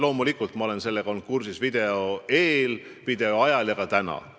Loomulikult ma olin sellega kursis enne selle video tegemist, video tegemise ajal ja olen ka täna.